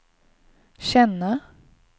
känna